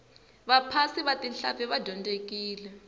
vaphasi va tihlampfi va dyondzekile